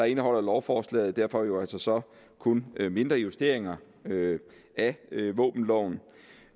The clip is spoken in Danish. indeholder lovforslaget derfor altså kun mindre justeringer af våbenloven